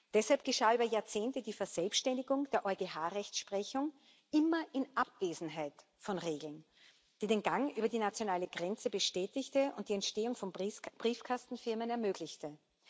Deshalb geschah über Jahrzehnte die Verselbständigung der EuGH Rechtsprechung immer in Abwesenheit von Regeln die den Gang über die nationale Grenze bestätigte und die Entstehung von Briefkastenfirmen ermöglichte.